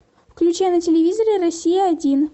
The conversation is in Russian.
включай на телевизоре россия один